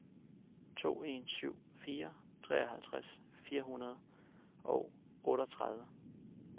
to en syv fire treoghalvtreds fire hundrede og otteogtredive